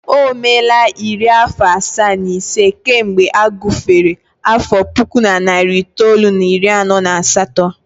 O meela iri afọ asaa na ise kemgbe a gufere afọ puku na narị itoolu na iri anọ na asatọ